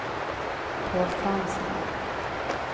Paul Fransson